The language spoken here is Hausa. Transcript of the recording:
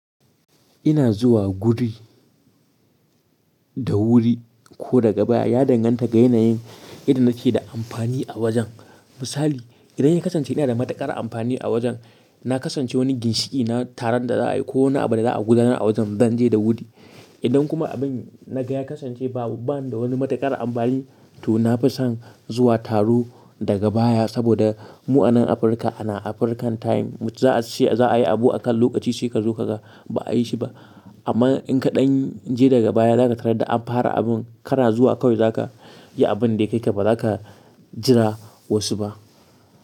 Ina zuwa guri da wuri ko daga baya ya danganta ga yanayin idan nake da amfani a wajen. Misali, idan ya kasance ina da matukar amfani a wajen, na kasance wani ginshiki na taron da za a yi ko wani abu da za a gudanar a wajen, zan je da wuri. Idan kuma abin na gaya kasance ba bani da wani matukar amfani, to na fi son zuwa taro daga baya saboda mu a nan Afirka ana African time. Za a yi abu akan lokaci sai ka zo kaga ba a yi shi ba. Amma in ka ɗan je daga baya, za ka tarar da an fara abun kana zuwa kawai za ka yi abin da yake ba za ka jira wasu ba.